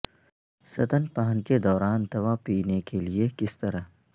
ستنپان کے دوران دوا پینے کے لئے کس طرح